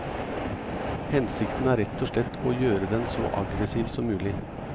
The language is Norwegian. Hensikten er rett og slett å gjøre den så aggressiv som mulig.